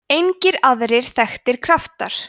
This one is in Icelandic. engir aðrir þekktir kraftar